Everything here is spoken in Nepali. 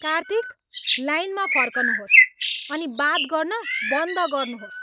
कार्तिक! लाइनमा फर्कनुहोस् अनि बात गर्न बन्द गर्नुहोस्।